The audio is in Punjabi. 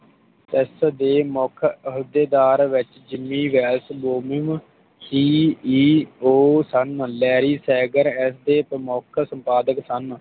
ਇਸ ਦੇ ਮੌਕੇ ਅਹੁਦੇਦਾਰ Vailz Gimi Vailz Gomin C. E. O ਸਨ ਲੇਰੀ ਸੇਗਰ ਇਸ ਦੇ ਪਰਮੋਖ ਸੰਪਾਦਕ ਸਨ